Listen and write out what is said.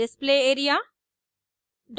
display area display area